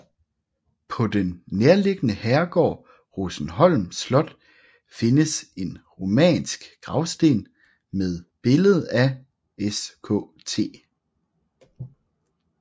På den nærliggende herregård Rosenholm Slot findes en romansk gravsten med billede af Skt